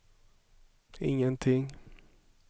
ingenting